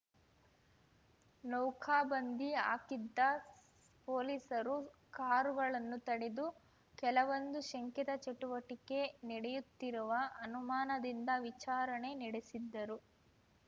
ನೌಕಾಬಂದಿ ಹಾಕಿದ್ದ ಪೊಲೀಸರು ಕಾರುಗಳನ್ನು ತಡೆದು ಕೆಲವೊಂದು ಶಂಕಿತ ಚಟುವಟಿಕೆ ನಡೆಯುತ್ತಿರುವ ಅನುಮಾನದಿಂದ ವಿಚಾರಣೆ ನೆಡೆಸಿದ್ದರು